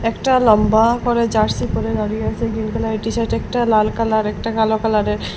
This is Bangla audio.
একটা লম্বা করে জার্সি পরে দাঁড়িয়ে আছে গ্রীন কালারের টিশার্ট একটা লাল কালার একটা কালো কালারের।